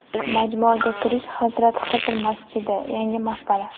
Majmuaga kirish, Hazrat Xizr masjidi, yangi maqbara.